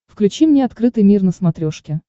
включи мне открытый мир на смотрешке